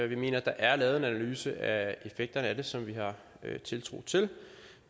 vi mener at der er lavet en analyse af effekterne af det som vi har tiltro til